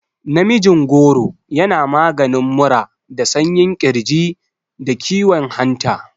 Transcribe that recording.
Namijin goro yana maganin mura da sanyin ƙirji, da kiwon hanta.